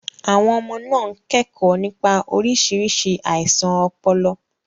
Àwọn ọmọ náà ń kẹ́kọ̀ọ́ nípa oríṣiríṣi àìsàn ọpọlọ.